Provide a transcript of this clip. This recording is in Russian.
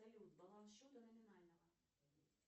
салют баланс счета номинального